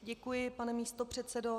Děkuji, pane místopředsedo.